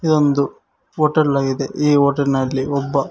ಇದೊಂದು ಹೋಟೆಲ್ ಆಗಿದೆ ಈ ಹೋಟೆಲ್ ನಲ್ಲಿ ಒಬ್ಬ--